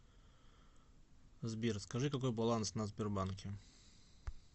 сбер скажи какой баланс на сбербанке